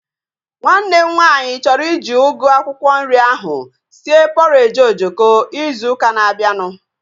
Nwanne m nwaanyị chọrọ iji ugu akwụkwọ nri ahu sie pọreji ojoko ịzụ ụka na-abianu